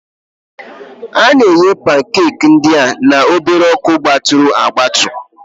A na-eghe pankeeki ndị a na obere ọkụgbaturu agbatu